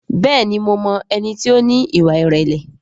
Bẹ́ẹ̀ni mo mọ ẹni tí ó ní ìwà ìrẹ̀lẹ̀